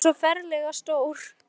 En hann er svo ferlega stór.